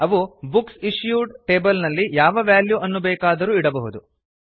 ಅವು books issued table ನಲ್ಲಿ ಯಾವ ವೆಲ್ಯೂ ಅನ್ನು ಬೇಕಾದರೂ ಇಡಬಹುದು